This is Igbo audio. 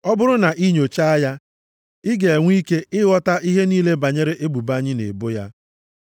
Ọ bụrụ na inyochaa ya, ị ga-enwe ike ịghọta ihe niile banyere ebubo anyị na-ebo ya.”